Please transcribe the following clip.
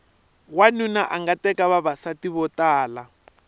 wanuna anga teka vavasati vo tala